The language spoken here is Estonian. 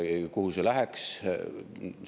Kuhu see läheks?